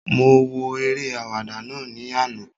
Mo wo eré àwàdà náà ní àná